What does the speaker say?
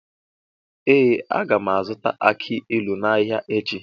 Ee, a ga m azụta aki ilu n’ahịa echi.